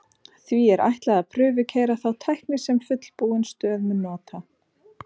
Því er ætlað að prufukeyra þá tækni sem fullbúin stöð mun nota.